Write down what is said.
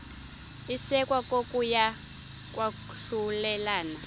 isekwa kokuya kwahlulelana